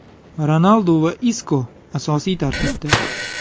Ronaldu va Isko asosiy tarkibda.